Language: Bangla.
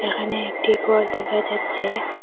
এখানে একটি ঘর দেখা যাচ্ছে।